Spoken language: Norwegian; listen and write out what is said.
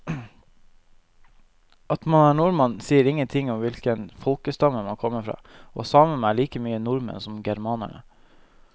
At man er nordmann sier ingenting om hvilken folkestamme man kommer fra, og samene er like mye nordmenn som germanerne.